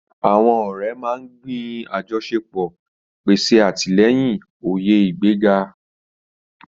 Àwọn ọ̀rẹ́ máa ń gbin àjọṣepọ̀, pèsè àtìlẹ́yìn, òye ìgbéga.